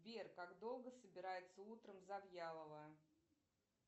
сбер как долго собирается утром завьялова